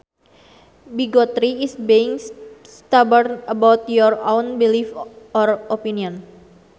Bigotry is being stubborn about your own belief or opinion